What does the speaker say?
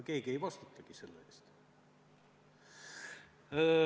Keegi ei vastutagi selle eest.